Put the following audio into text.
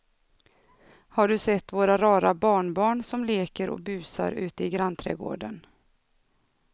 Har du sett våra rara barnbarn som leker och busar ute i grannträdgården!